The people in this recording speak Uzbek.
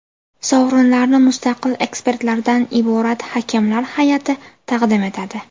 Sovrinlarni mustaqil ekspertlardan iborat hakamlar hay’ati taqdim etadi.